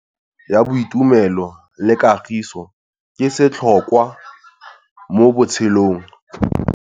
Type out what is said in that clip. Tsalano ya boitumelo le kagiso ke setlhôkwa mo botshelong.